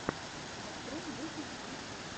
открой мультики ютьюб